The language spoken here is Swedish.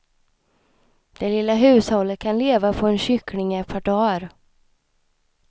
Det lilla hushållet kan leva på en kyckling i ett par dagar.